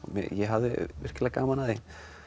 ég hafði virkilega gaman af því